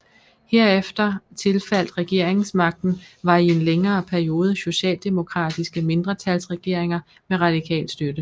Herefter tilfaldt regeringsmagten var i en længere periode socialdemokratiske mindretalsregeringer med radikal støtte